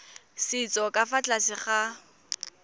setso ka fa tlase ga